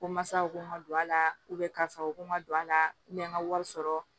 Ko masaw ko n ma don a la karisa u ko n ma don a la n ka wari sɔrɔ